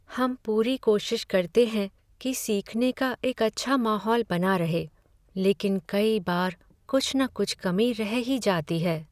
हम पूरी कोशिश करते हैं कि सीखने का एक अच्छा माहौल बना रहे, लेकिन कई बार कुछ न कुछ कमी रह ही जाती है।